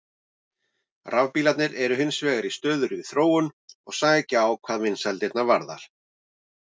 Rafbílarnir eru hins vegar í stöðugri þróun og sækja á hvað vinsældirnar varðar.